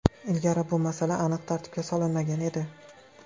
Ilgari bu masala aniq tartibga solinmagan edi.